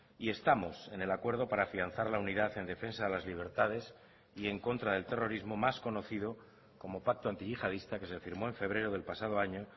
y estamos en el acuerdo para afianzar la unidad en defensa de las libertades y en contra del terrorismo más conocido como pacto antiyihadista que se firmó en febrero del pasado año